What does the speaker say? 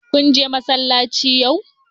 Kun je masallaci yau?